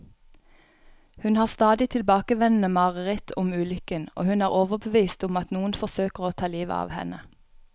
Hun har stadig tilbakevendende mareritt om ulykken, og hun er overbevist om at noen forsøker å ta livet av henne.